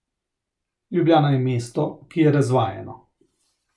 Ljubljana je mesto, ki je razvajeno.